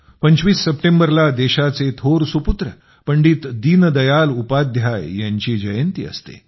25 सप्टेंबरला देशाचे थोर सुपुत्र पंडित दीनदयाल उपाध्याय यांची जयंती असते